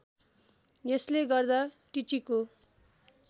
यसले गर्दा टिचीको